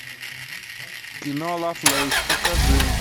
кино лавлэйс покажи